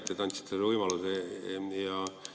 Aitäh, et te andsite mulle võimaluse!